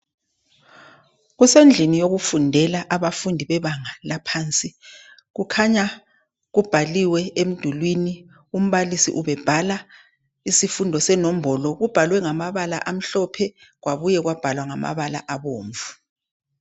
Kusendlini yokufundela abafundi bebanga laphansi . Kukhanya kubhaliwe emdulwini, umbalisi ubebhala isifundo senombolo. Kubhalwe ngamabala amhlophe kwabuye kwabhalwa ngamabala abomvu.